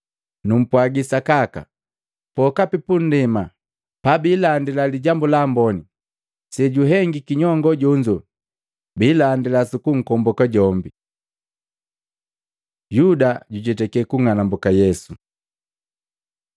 Numpwagi sakaka, pokapi pundema pabiilandila Lijambu la Amboni, sejuhengiki nyongo jonzo biilandila sukunkomboka jombi.” Yuda jujetake kung'alambuka Yesu Maluko 14:10-11; Luka 22:3-6